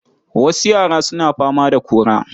Wasu yara suna fama da kora.